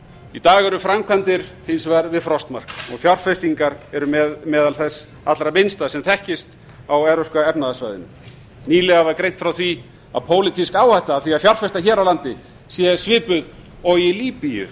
í dag eru framkvæmdir hins vegar við frostmark og fjárfestingar eru meðal þess allra minnsta sem þekkist á evrópska efnahagssvæðinu nýlega var greint frá því að pólitísk áhætta af því að fjárfesta hér á landi sé svipuð og í líbíu